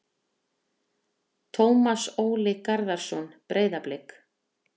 Tómas Óli Garðarsson- Breiðablik